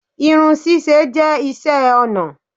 Irun ṣíṣe jẹ́ iṣẹ́ ọnà